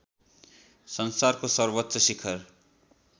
संसारको सर्वोच्च शिखर